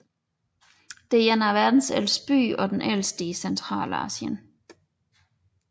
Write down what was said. Det er en af verdens ældste byer og den ældste i Centralasien